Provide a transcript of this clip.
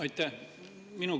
Aitäh!